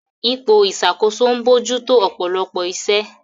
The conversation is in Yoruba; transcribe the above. Ipò ìṣàkóso ń bójú tó ọ̀pọ̀lọpọ̀ iṣẹ́.